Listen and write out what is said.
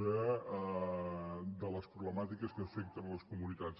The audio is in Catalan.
de les problemàtiques que afecten les comunitats